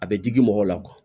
A bɛ digi mɔgɔw la